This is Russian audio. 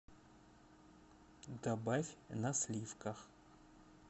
добавь на сливках